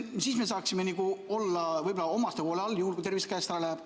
Siis me saaksime olla võib-olla omaste hoole all, juhul kui tervis käest läheb.